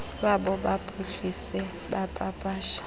lwabo baphuhlise bapapashe